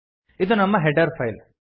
ಇದು ನಮ್ಮ header file